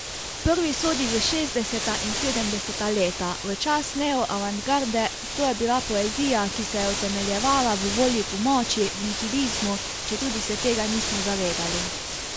Prvi sodi v šestdeseta in sedemdeseta leta, v čas neoavantgarde, to je bila poezija, ki se je utemeljevala v volji po moči, v nihilizmu, četudi se tega nismo zavedali.